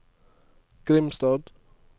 Grimstad